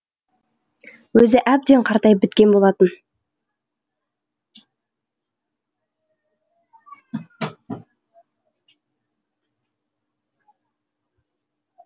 өзі әбден қартайып біткен болатын